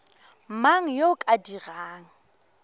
mang yo o ka dirang